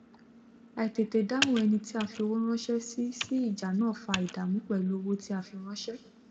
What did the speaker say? àìtètédáhùn eni tí a fi owó ránsé sí sí ìjà náà fa ìdàmú pèlú owó tí a fi ránsè